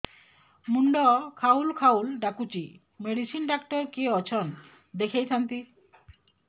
ମୁଣ୍ଡ ଖାଉଲ୍ ଖାଉଲ୍ ଡାକୁଚି ମେଡିସିନ ଡାକ୍ତର କିଏ ଅଛନ୍ ଦେଖେଇ ଥାନ୍ତି